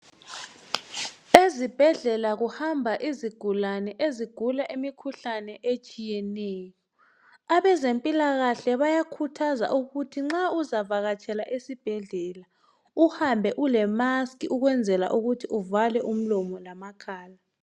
Ezibhedlela kuhamba izigulane ezigula imikhuhlane etshiyeneyo. Abezempilakahle bayakhuthaza ukuthi nxa uzavakatshela esibhedlela uhambe ulemaski ukwenzela ukuthi uvale umlomo lamakhala.